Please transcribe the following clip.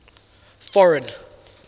foreign